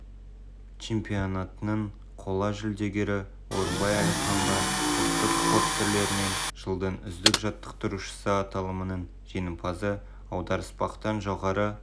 чемпионатының қола жүлдегері орынбай әліханға ұлттық спорт түрлерінен жылдың үздік жаттықтырушысы аталымының жеңімпазы аударыспақтан жоғары